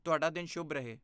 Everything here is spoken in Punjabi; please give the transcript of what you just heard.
ਤੁਹਾਡਾ ਦਿਨ ਸ਼ੁਭ ਰਹੇ।